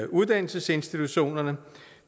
uddannelsesinstitutionerne